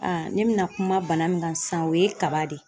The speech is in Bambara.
ne bɛna kuma bana min kan sisan o ye kaba de ye.